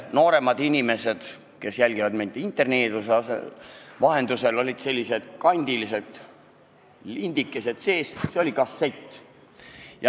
Noorematele inimestele, kes jälgivad meid interneeduse vahendusel, ütlen, et olid sellised kandilised asjad, lindikesed sees, need olid kassetid.